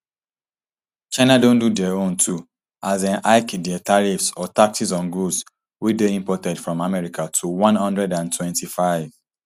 china don do dia own too as dem hike dia tariffs or taxes on goods wey dey imported from america to one hundred and twenty-five